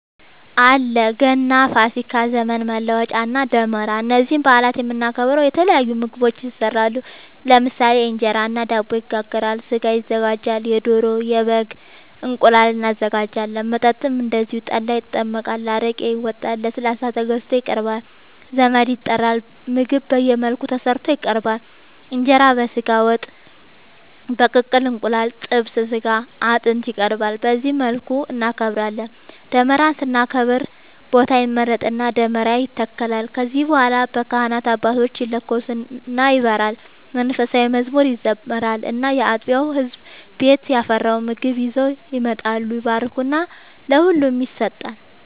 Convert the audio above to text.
አለ ገና፣ ፋሲካ፣ ዘመን መለወጫ እና ደመራ እነዚህን በአላት የምናከብረው የተለያዩ ምግቦች ይሰራሉ ለምሳሌ እንጀራ እና ዳቦ ይጋገራል፣ ስጋ ይዘጋጃል የዶሮ፣ የበግም፣ እንቁላል እናዘጋጃለን። መጠጥም እንደዚሁ ጠላ ይጠመቃል፣ አረቄ ይወጣል፣ ለስላሳ ተገዝቶ ይቀርባል ዘመድ ይጠራል ምግብ በየመልኩ ተሰርቶ ይቀርባል እንጀራ በስጋ ወጥ፣ በቅቅል እንቁላል እና ጥብስ ስጋ አጥንት ይቀርባል በዚህ መልኩ እናከብራለን። ደመራን ስናከብር ቦታ ይመረጥና ደመራ ይተከላል ከዚያ በኋላ በካህናት አባቶች ይለኮስና ይበራል መንፉሳዊ መዝሙር ይዘመራል እና ያጥቢያው ህዝብ ቤት ያፈራውን ምግብ ይዘው ይመጣሉ ይባረክና ለሁሉም ይሰጣል።